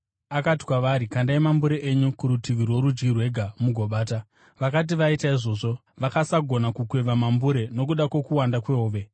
Akati kwavari, “Kandai mambure enyu kurutivi rworudyi rwegwa mugobata.” Vakati vaita izvozvo, vakasagona kukweva mambure nokuda kwokuwanda kwehove.